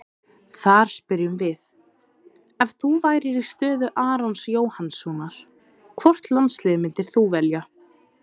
Þar spyrjum við: Ef þú værir í stöðu Arons Jóhannssonar, hvort landsliðið myndir þú velja?